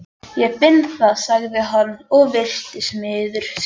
Ég finn það, sagði hann og virtist miður sín.